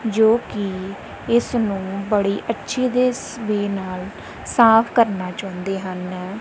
ਜੋ ਕੀ ਇਸਨੂੰ ਬੜੀ ਨਾਲ ਸਾਫ ਕਰਨਾ ਚਾਹੁੰਦੇ ਹਨ।